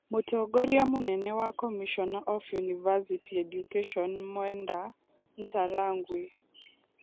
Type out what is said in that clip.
Mũtongoria mũnene wa Commissioner of ũniversity Education Mwenda Ntarangwi